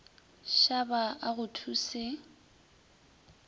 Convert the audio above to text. shaba a go thu se